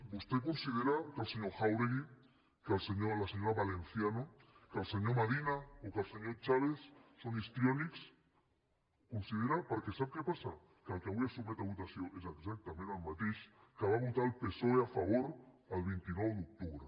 vostè considera que el senyor jáuregui que la senyora valencia no que el senyor madina o que el senyor chaves són histriònics ho considera perquè sap què passa que el que avui es sotmet a votació és exactament el mateix que va votar el psoe a favor el vint nou d’octubre